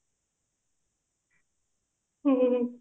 ହୁଁ